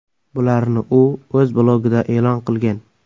Bularni u o‘z blogida e’lon qilgan .